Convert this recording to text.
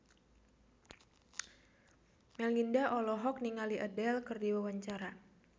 Melinda olohok ningali Adele keur diwawancara